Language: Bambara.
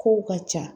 Kow ka ca